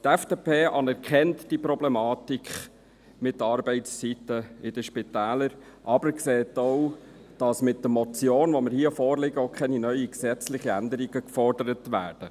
Die FDP anerkennt die Problematik mit den Arbeitszeiten in den Spitälern, sieht aber auch, dass mit der Motion, die hier vorliegt, keine neuen gesetzlichen Änderungen gefordert werden.